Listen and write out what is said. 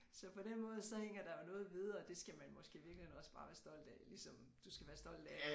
Så på den måde så hænger der vel noget ved og det skal man måske i virkeligheden også bare være stolt af ligesom du skal være stolt af